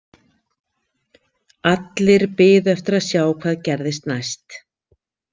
Allir biðu eftir að sjá hvað gerðist næst.